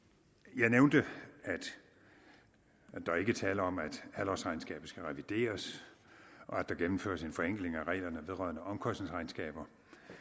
jeg nævnte at der ikke er tale om at halvårsregnskabet skal revideres og at der gennemføres en forenkling af reglerne vedrørende omkostningsregnskaber